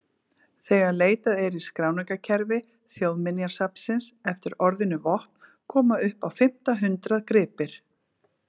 Þegar leitað er í skráningarkerfi Þjóðminjasafnsins eftir orðinu vopn koma upp á fimmta hundrað gripir.